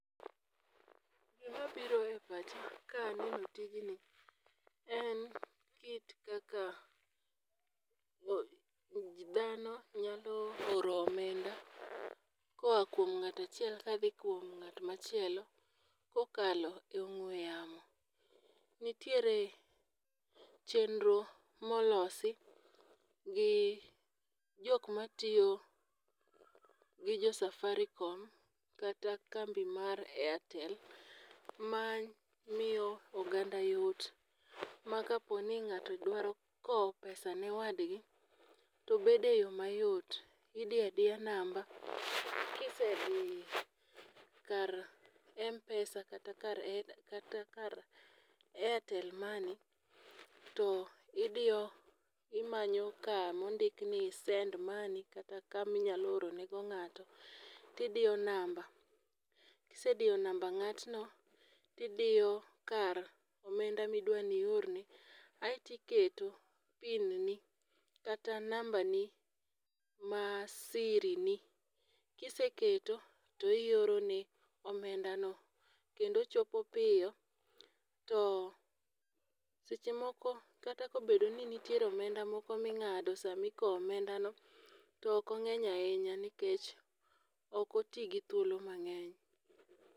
Gima biro e pacha ka aneno tijni en kit kaka dhano nyalo oro omenda koa kuom ng'ata chiel kadhi kuom ng'at machielo kokalo e ong'we yamo. Nitiere chenro molosi gi jok matiyo gi jo safarikom kata kambi mar airtel. Ma miyo oganda yot makaponi ng'ato dwaro kowo pesa ne wadgi to bede yo mayot idiyadiya namba kisediyo kar mpesa kata kar kata kar airtel money to idiyo imanyo kamondik ni send money kata kami nyalo oro ne go ng'ato tidiyo namba. Kisediyo namba ng'atno, tidiyo kar omenda midwa ni orne kasto iketo pin ni kata namba ni mar siri ni. Kiseketo to ioro ne omenda no kendo chopo piyo. To seche moko kata kobedo ni nitiere omenda moko ming'ade sa mikowo omenda no nikech ok oti gi thuolo mang'eny.